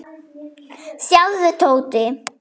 Sjáðu, Tóti.